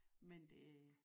Men det